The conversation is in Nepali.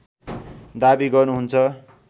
दाबी गर्नुहुन्छ